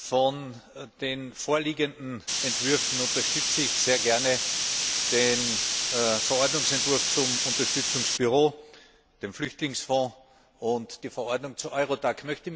Von den vorliegenden Entwürfen unterstütze ich sehr gerne den Verordnungsentwurf zum Unterstützungsbüro, den Flüchtlingsfonds und die Verordnung zu EURODAC.